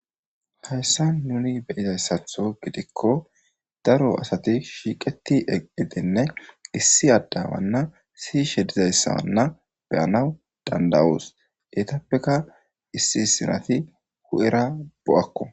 hayssa nuni beyizayssatho gidikko daro asati shiiqeti eidenne issi addawanna sishe dizayssaanna beyanaw dandawuus etappeka issi sinati hu7era bo7akko